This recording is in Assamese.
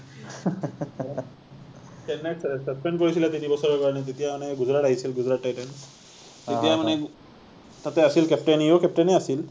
চেন্নাইক suspend কৰিছিলে তিনি বছৰৰ কাৰণে তেতিয়া মানে গুজৰাট আহিছিল, গুজৰাট টাইটেনছ, আহ তেতিয়া মানে তাতে আছিল captain ই ও captain এই আছিল